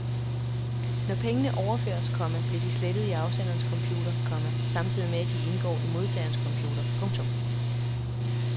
Når pengene overføres, komma bliver de slettet i afsenderens computer, komma samtidig med at de indgår i modtagerens computer. punktum